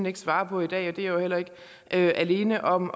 ikke svare på i dag og det er jeg jo heller ikke alene om